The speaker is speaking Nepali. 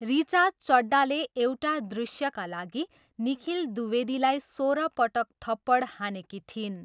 ऋचा चड्डाले एउटा दृश्यका लागि निखिल द्विवेदीलाई सोह्रपटक थप्पड हानेकी थिइन्।